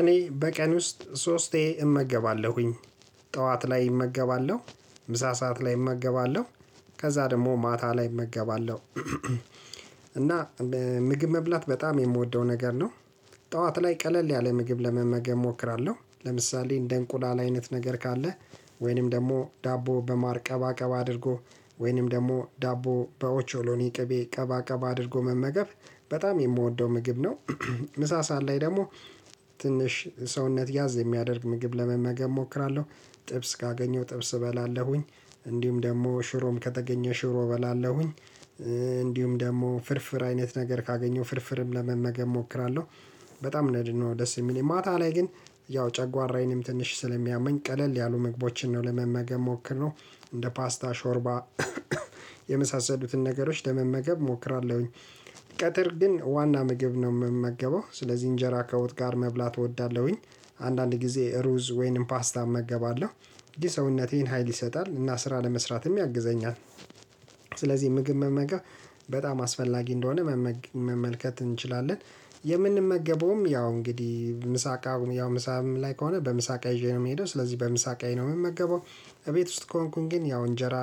እኔ በቀን ውስጥ ሶስቴ እመገባለሁኝ። ጠዋት ላይ እመገባለሁ፣ ምሳ ሰዓት ላይ እመገባለሁ፣ ከዛ ደግሞ ማታ ላይ እመገባለሁ። እና ምግብ መብላት በጣም የምወደው ነገር ነው፣ ጠዋት ላይ ቀለል ያለ ምግብ ለመመገብ እሞክራለሁ ለምሳሌ እንደ እንቁላል አይነት ነገር ካለ ወይንም ደግሞ ዳቦ በማር ቀባ ቀባ አድርጎ ወይንም ደግሞ ዳቦ በኦቾሎኒ ቅቤ ቀባ ቀባ አድርጎ መመገብ በጣም የምወደው ምግብ ነው። ምሳ ሰአል ላይ ደግሞ ትንሽ ሰውነት ያዝ የሚያደርግ ምግብ ለመመገብ እሞክራለሁ ጥብስ ካገኘሁ ጥብስ እበላለሁኝ፣ እንዲሁም ደግሞ ሽሮም ከተገኘ ሽሮ እበላለሁኝ፣ እንዲሁም ደግሞ ፍርፍር አይነት ነገር ካገኘው ፍርፍርም ለመመገብ እሞክራለሁ። በጣም ነድ ነው ደስ የሚል ማታ ላይ ግን ያው ጨጓራዬንም ትንሽ ስለሚያመኝ ቀለል ያሉ ምግቦችን ነው ለመመገብ ምሞክረው እንደ ፓስታ፣ ሾርባ፣ የመሳሰሉትን ነገሮች ለመመገብ እሞክራለሁኝ። ቀትር ግን ዋና ምግብ ነው የምመገበው ስለዚህ እንጀራ ከወጥ ጋር መብላት እወዳለሁኝ አንዳንድ ጊዜ ሩዝ ወይንም ፓስታ እመገባለሁ ይሄ ሀይል ይሰጣል እና ስራ ለመስራትም ያግዘኛል። ስለዚህ ምግብ መመገብ በጣም አስፈላጊ እንደሆነ መመልከት እንችላለን። የምንመገበውም ያው እንግዲህ ምሳ እቃውን ያው ምሳም ላይ ከሆነ በምሳ እቅ ይዤ ነው የምሄደው ስለዚህ በምሳ እቅዬ ነው የምመገበው፣ እቤት ውስጥ ከሆንኩኝ ግን ያው እንጀራ